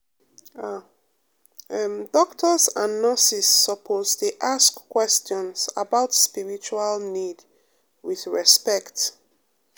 ah em doctors and nurses suppose dey ask questions about spiritual need with respect.